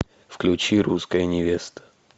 включи русская невеста